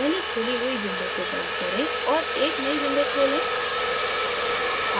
पहले खुली हुई windows को बंद करें और एक नयी windows खोलें